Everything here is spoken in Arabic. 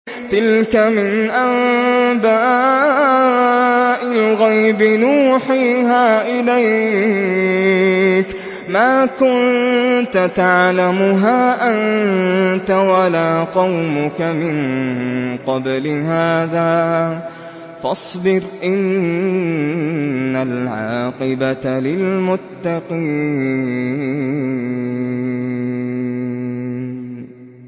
تِلْكَ مِنْ أَنبَاءِ الْغَيْبِ نُوحِيهَا إِلَيْكَ ۖ مَا كُنتَ تَعْلَمُهَا أَنتَ وَلَا قَوْمُكَ مِن قَبْلِ هَٰذَا ۖ فَاصْبِرْ ۖ إِنَّ الْعَاقِبَةَ لِلْمُتَّقِينَ